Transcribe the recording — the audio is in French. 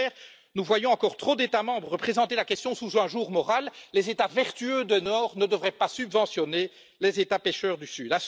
Au contraire, nous voyons encore trop d'États membres présenter la question sous un jour moral les États vertueux du nord ne devraient pas subventionner les États pêcheurs du sud.